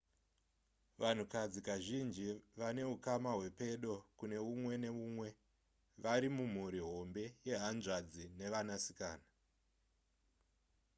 vanhukadzi kazhinji vanehukama hwepedo kune umwe neumwe vari mumhuri hombe yehanzvadzi nevanasikana